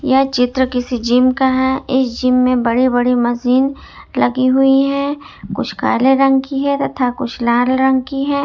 यह चित्र किसी जिम का है इस जिम में बड़े बड़े मशीन लगी हुई है कुछ काले रंग की है तथा कुछ लाल रंग की है।